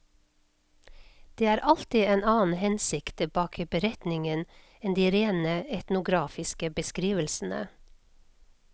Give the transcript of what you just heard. Det er alltid en annen hensikt bak beretningen enn de rene etnografiske beskrivelsene.